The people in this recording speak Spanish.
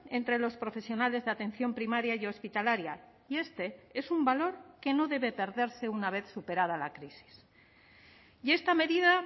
entre los profesionales de atención primaria y hospitalaria y este es un valor que no debe perderse una vez superada la crisis y esta medida